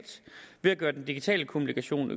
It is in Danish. ved at gøre den digitale kommunikation